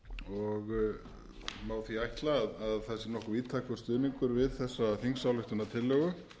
og má því ætla að það sé nokkuð víðtækur stuðningur við þessa þingsályktunartillögu